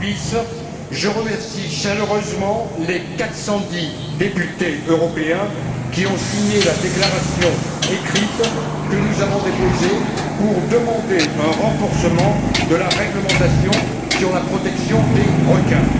Davies, je remercie chaleureusement les 410 députés européens qui ont signé la déclaration écrite que nous avons déposée pour demander un renforcement de la réglementation sur la protection des requins.